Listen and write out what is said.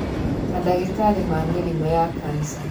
Mandagĩtarĩ ma mĩrimũ ya kanca